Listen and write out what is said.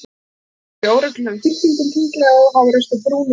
Tjöldin voru í óreglulegum þyrpingum, hringlaga og háreist úr brúnu, grófu efni.